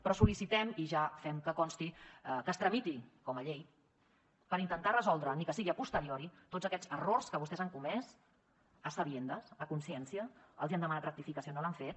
però sol·licitem i ja fem que consti que es tramiti com a llei per intentar resoldre ni que sigui a posteriori tots aquests errors que vostès han comès demanat rectificació i no l’han fet